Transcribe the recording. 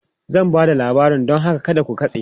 Zan ba da labari don haka kada ku katse!